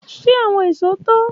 Ṣe awọn ìṣó to?